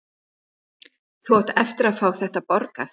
Þú átt eftir að fá þetta borgað!